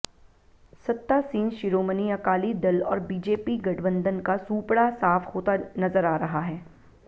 सत्तासीन शिरोमणि अकाली दल और बीजेपी गठबंधन का सूपड़ा साफ होता नजर आ रहा है